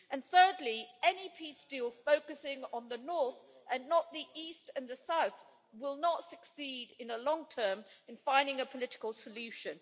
And thirdly, any peace deal focusing on the north, and not the east and the south, will not succeed in the long term in finding a political solution.